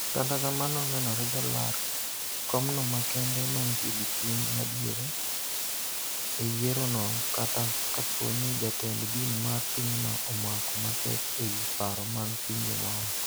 Kata kamano nonenore jalar komno makende mantie gi chung' madiere e yiero no kata kapo ni jatend din mar pinyno omako matek e wi paro mag pinje maoko.